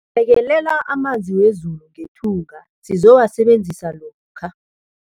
Bekelela amanzi wezulu ngethunga sizowasebenzisa lokha.